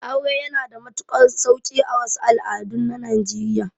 Aure yana da matuƙar sauƙi a wasu al'adun na najeriya